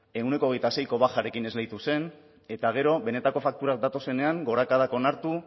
ehuneko hogeita seiko bajarekin esleitu zen eta gero benetako fakturak datozenean gorakadak onartu